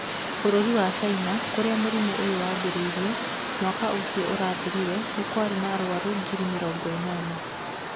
Bũrũri wa China, kũrĩa mũrimũ ũyũ waambĩrĩirie, mwaka ũcio ũrathirire nĩ kwarĩ na arwaru ngiri mĩrongo ĩnana.